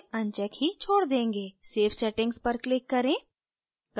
save settings पर click करें